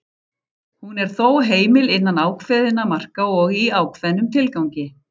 Hún er þó heimil innan ákveðinna marka og í ákveðnum tilgangi.